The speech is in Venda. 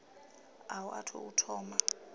a u athu u thoma